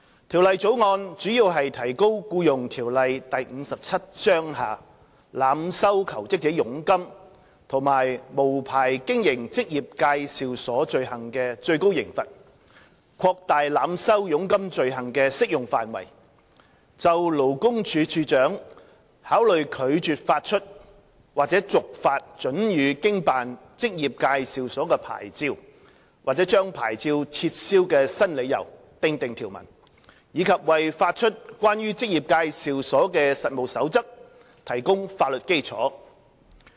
《條例草案》主要提高《僱傭條例》下濫收求職者佣金及無牌經營職業介紹所罪行的最高刑罰、擴大濫收佣金罪行的適用範圍、就勞工處處長考慮拒絕發出或續發准予經辦職業介紹所的牌照、或將牌照撤銷的新理由訂定條文，以及為發出關於職業介紹所的實務守則提供法律基礎。